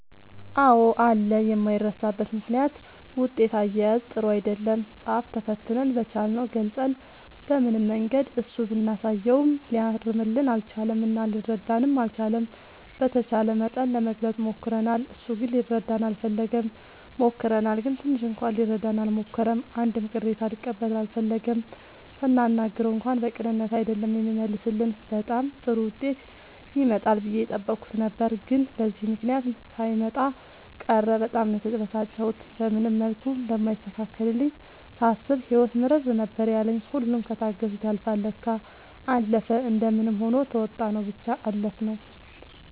አዎ አለ የማይረሳበት ምክንያት ውጤት አያያዝ ጥሩ አይደለም ፃፍ ተፈትነን በቻልነው ገልፀን በምንም መንገድ እሱ ብናሳየውም ሊያርምልን አልቻለም እና ሊረዳንም አልቻለም። በተቻለ መጠን ለመግለፅ ሞክርናል እሱ ግን ሊረዳን አልፈለገም። ሞክረናል ግን ትንሽ እንኳን ሊረዳን አልሞከረም አንድም ቅሬታ ሊቀበል አልፈለገም ስናናግረው እንኳን በቅንነት አይደለም የሚመልስልን በጣም ጥሩ ዉጤት ይመጣል ብዬ የጠበኩት ነበር ግን በዚህ ምክንያት ሳይመጣ ቀረ በጣም ነው የተበሳጨሁት። በምንም መልኩ እንደማይስተካከልልኝ ሳስብ ህይወት ምርር ነበር ያለኝ ሁሉም ከታገሱት ያልፍል ለካ። አለፈ እንደምንም ሆኖ ተዉጣንው ብቻ አለፍነው።